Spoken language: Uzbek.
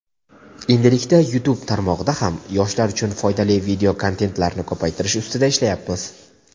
endilikda YouTube tarmog‘ida ham yoshlar uchun foydali videokontentlarni ko‘paytirish ustida ishlayapmiz.